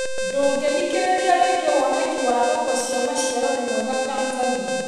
Ndũngĩthikĩrĩria rĩngĩ woneki wa thoko cia maciaro ni mwega Tanzania?